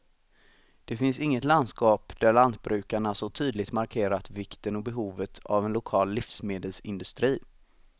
Det finns inget landskap där lantbrukarna så tydligt markerat vikten och behovet av en lokal livsmedelsindustri.